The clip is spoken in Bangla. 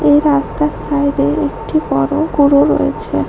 এই রাস্তার সাইড এ একটি বড়ো গরু রয়েছে।